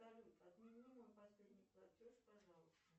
салют отмени мой последний платеж пожалуйста